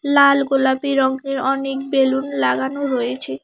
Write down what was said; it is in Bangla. লাল গোলাপি রঙ্গের অনেক বেলুন লাগানো রয়েছে।